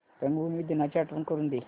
रंगभूमी दिनाची आठवण करून दे